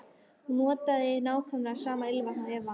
Hún notar nákvæmlega sama ilmvatn og Eva.